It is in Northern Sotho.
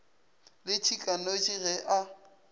e le tšhikanoši ge a